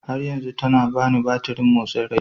har yanzu tana bani batirin motsin rai